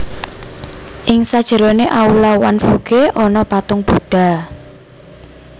Ing sajerone aula Wanfuge ana patung budha